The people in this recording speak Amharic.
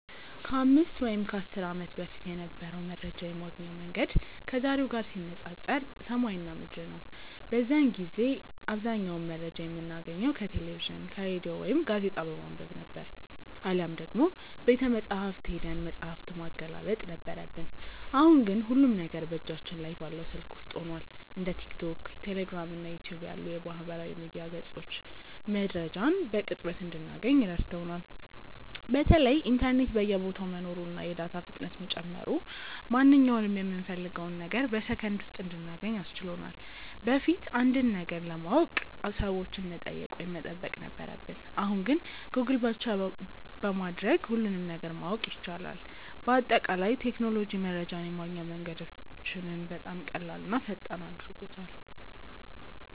ከ5 ወይም ከ10 ዓመት በፊት የነበረው መረጃ የማግኛ መንገድ ከዛሬው ጋር ሲነፃፀር ሰማይና ምድር ነው። በዚያን ጊዜ አብዛኛውን መረጃ የምናገኘው ከቴሌቪዥን፣ ከሬዲዮ ወይም ጋዜጣ በማንበብ ነበር፤ አሊያም ደግሞ ቤተመጻሕፍት ሄደን መጽሐፍ ማገላበጥ ነበረብን። አሁን ግን ሁሉም ነገር በእጃችን ላይ ባለው ስልክ ውስጥ ሆኗል። እንደ ቲክቶክ፣ ቴሌግራም እና ዩቲዩብ ያሉ የማህበራዊ ሚዲያ ገጾች መረጃን በቅጽበት እንድናገኝ ረድተውናል። በተለይ ኢንተርኔት በየቦታው መኖሩና የዳታ ፍጥነት መጨመሩ ማንኛውንም የምንፈልገውን ነገር በሰከንድ ውስጥ እንድናገኝ አስችሎናል። በፊት አንድን ነገር ለማወቅ ሰዎችን መጠየቅ ወይም መጠበቅ ነበረብን፣ አሁን ግን ጎግል በማድረግ ብቻ ሁሉንም ነገር ማወቅ ይቻላል። በአጠቃላይ ቴክኖሎጂ መረጃን የማግኛ መንገዳችንን በጣም ቀላልና ፈጣን አድርጎታል።